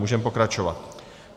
Můžeme pokračovat.